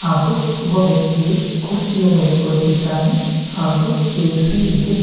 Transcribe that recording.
ಹಾಗು ಒಬ್ಬ ವ್ಯಕ್ತಿಯು ಕುರ್ಚಿಯ ಮೇಲೆ ಕುಳಿತಿದ್ದಾನೆ ಹಾಗು ಎ_ಸಿ ಇದೆ.